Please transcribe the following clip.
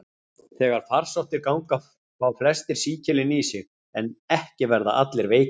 Þegar farsóttir ganga fá flestir sýkilinn í sig, en ekki verða allir veikir.